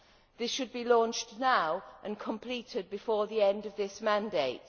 This should be launched now and completed before the end of this mandate.